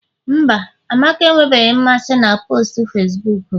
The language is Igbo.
mba, amaka enwebeghị mmasị na postu Facibuku m